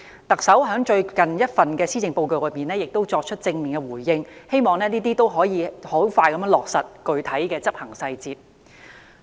特首在最近一份施政報告已作出正面回應，我希望能迅速落實具體執行細節。